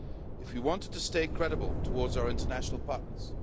if we wanted to stay credible towards our international partners